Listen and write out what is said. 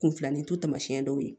Kun filanin to taamasiyɛn dɔw ye